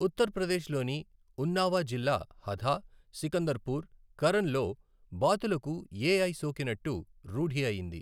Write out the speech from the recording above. ఉత్తర్ప్రదేశ్ లోని ఉన్నావా జిల్లా హధా, సికందర్పూర్, కరన్ లో బాతులకు ఎఐ సోకినట్టు రూఢి అయింది.